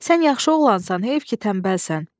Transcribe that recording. Sən yaxşı oğlansan, heyf ki tənbəlsən.